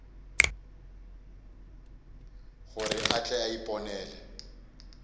gore a tle a iponele